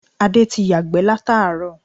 Adé ti yàgbẹ́ látàárọ̀